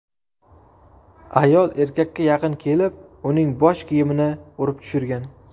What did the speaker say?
Ayol erkakka yaqin kelib, uning bosh kiymini urib tushirgan.